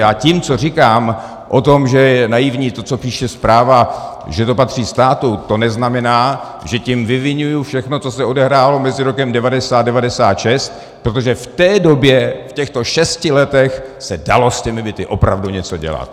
Já tím, co říkám o tom, že je naivní to, co píše zpráva, že to patří státu, to neznamená, že tím vyviňuji všechno, co se odehrálo mezi rokem 1990 a 1996, protože v té době, v těchto šesti letech, se dalo s těmi byty opravdu něco dělat.